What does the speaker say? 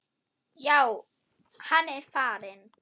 Já, hann er farinn